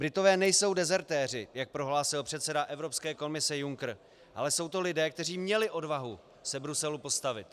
Britové nejsou dezertéři, jak prohlásil předseda Evropské komise Juncker, ale jsou to lidé, kteří měli odvahu se Bruselu postavit.